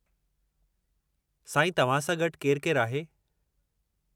साईं, तव्हां सां गॾु केरु-केरु आहे?